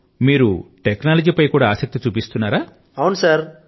ఓహ్ మీరు టెక్నాలజీ పైన కూడా ఆసక్తి ని చూపుతున్నారా